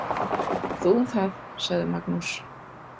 Þú um það, sagði Magnús.